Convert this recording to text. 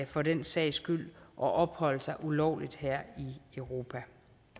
for den sags skyld at opholde sig ulovligt her i europa